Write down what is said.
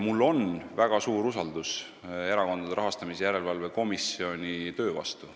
Mul on väga suur usaldus Erakondade Rahastamise Järelevalve Komisjoni töö vastu.